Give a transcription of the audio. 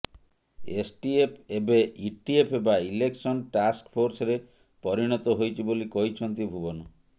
STF ଏବେ ETF ବା election ଟାକ୍ସଫୋର୍ସରେ ପରିଣତ ହୋଇଛି ବୋଲି କହିଛନ୍ତି ଭୁବନ